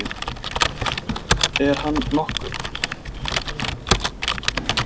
Dæmi: Er hann nokkuð.